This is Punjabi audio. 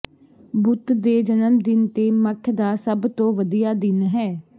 ਬੁੱਤ ਦੇ ਜਨਮ ਦਿਨ ਤੇ ਮਠ ਦਾ ਸਭ ਤੋਂ ਵਧੀਆ ਦਿਨ ਹੈ